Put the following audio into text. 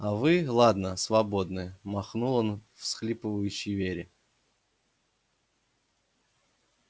а вы ладно свободны махнул он всхлипывающей вере